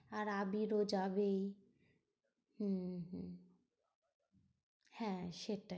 আর আবিরও যাবেই হম হম হ্যাঁ সেটাই।